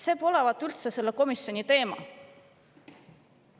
See polevat üldse selle komisjoni teema.